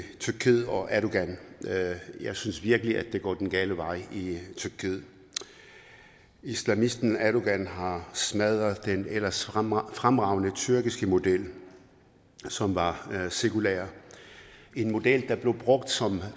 tyrkiet og erdogan jeg synes virkelig at det går den gale vej i tyrkiet islamisten erdogan har smadret den ellers fremragende fremragende tyrkiske model som var sekulær en model der blev brugt som